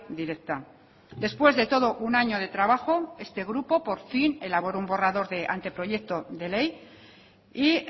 directa después de todo un año de trabajo este grupo por fin elaboró un borrador de anteproyecto de ley y